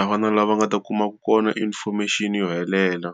a va na laha nga ta kumaka kona information yo helela.